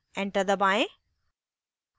enter दबाएं